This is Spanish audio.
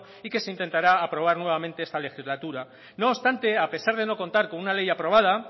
y que se intentará aprobar nuevamente esta legislatura no obstante a pesar de no contar con una ley aprobada